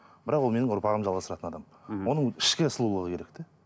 бірақ ол менің ұрпағымды жалғастыратын адам мхм оның ішкі сұлулығы керек те